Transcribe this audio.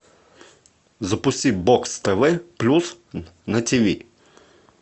запусти бокс тв плюс на тиви